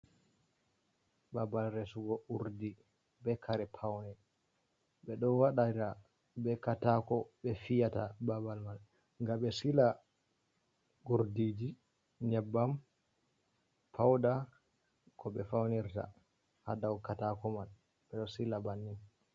Babal resugo urdi, be kare pawne .Ɓe ɗo waɗara be kataako ,ɓe fiyata babal man, ngam ɓe sila urdiiji, nyebbam, pawda ko ɓe fawnirta haa daw kataako man. Ɓe ɗo sila bannin.